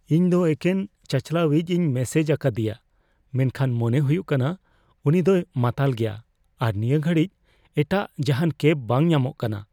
ᱤᱧ ᱫᱚ ᱮᱠᱮᱱ ᱪᱟᱹᱞᱣᱟᱭᱤᱡᱤᱧ ᱢᱮᱥᱮᱡ ᱟᱠᱟᱫᱤᱭᱟ ᱢᱮᱱᱠᱷᱟᱱ ᱢᱚᱱᱮ ᱦᱩᱭᱩᱜ ᱠᱟᱱᱟ ᱩᱱᱤ ᱫᱚᱭ ᱢᱟᱛᱟᱞ ᱜᱮᱭᱟ ᱟᱨ ᱱᱤᱭᱟᱹ ᱜᱷᱟᱹᱲᱤᱡ ᱮᱴᱟᱜ ᱡᱟᱦᱟᱱ ᱠᱮᱵ ᱵᱟᱝ ᱧᱟᱢᱚᱜ ᱠᱟᱱᱟ ᱾